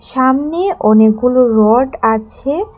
সামনে অনেকগুলো রড আছে।